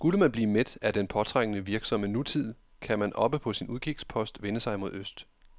Skulle man blive mæt af den påtrængende, virksomme nutid, kan man oppe på sin udkigspost vende sig mod øst.